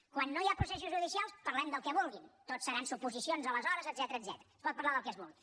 quan no hi ha processos judicials parlem del que vulguin tot seran suposicions aleshores etcètera es pot parlar del que es vulgui